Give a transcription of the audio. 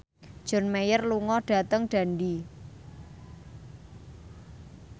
John Mayer lunga dhateng Dundee